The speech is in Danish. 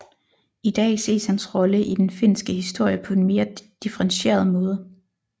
I dag ses hans rolle i den finske historie på en mere differentieret måde